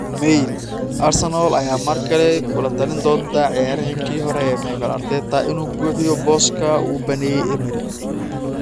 (Mail) Arsenal ayaa mar kale kula talin doonta ciyaaryahankii hore ee Mikel Arteta inuu buuxiyo booska uu baneeyay Emery.